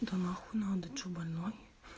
да нахуй надо что больной